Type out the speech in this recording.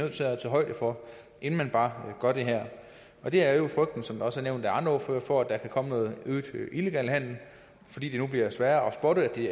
at tage højde for inden vi bare gør det her og det er jo frygten som også er nævnt af andre ordførere for at der kan komme noget illegal handel fordi det nu bliver sværere at spotte at det